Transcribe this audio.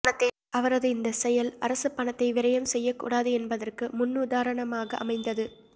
அவரது இந்த செயல் அரசு பணத்தை விரையம் செய்யக் கூடாது என்பதற்கு முன்னுதாரணமாக அமைந்தது